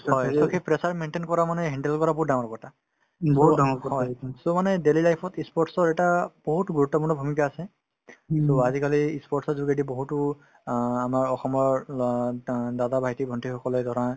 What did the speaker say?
হয় last তত সেই pressure maintain কৰা মানে handle কৰা বহুত ডাঙৰ কথা উম হয় so মানে daily life ত ই sports ৰ এটা বহুত গুৰুত্বপূৰ্ণ ভূমিকা আছে to আজিকালি ই sports ৰ যোগেদি বহুতো অ আমাৰ অসমৰ ল দা দাদা ভাইটি-ভণ্টি সকলে ধৰা